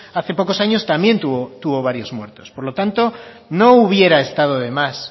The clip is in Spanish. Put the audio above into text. hace pocos años también tuvo varios muertos por lo tanto no hubiera estado de más